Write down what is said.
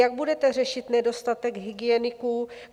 Jak budete řešit nedostatek hygieniků?